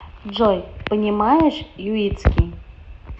джой понимаешь юитский